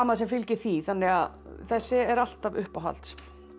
sem fylgir því þannig að þessi er alltaf uppáhalds